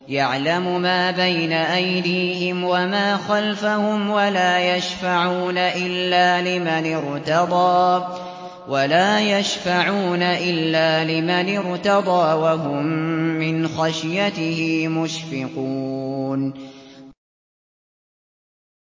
يَعْلَمُ مَا بَيْنَ أَيْدِيهِمْ وَمَا خَلْفَهُمْ وَلَا يَشْفَعُونَ إِلَّا لِمَنِ ارْتَضَىٰ وَهُم مِّنْ خَشْيَتِهِ مُشْفِقُونَ